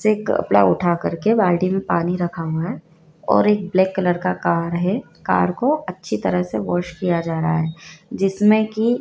एक कपड़ा उठा करके बाल्टी में पानी रखा हुआ है और एक ब्लैक कलर का है कार को अच्छी तरह से वाश किया जा रहा है जिसमें की--